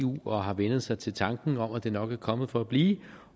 og har vænnet sig til tanken om at det nok er kommet for at blive